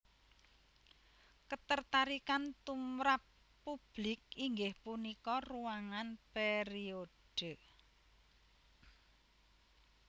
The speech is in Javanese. Ketertarikan tumrap publik inggih punika ruangan periode